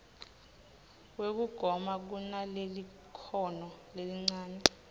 wekugoma kunalelikhono lelincane